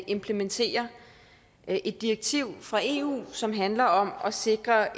implementere et direktiv fra eu som handler om at sikre